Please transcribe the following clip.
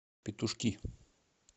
петушки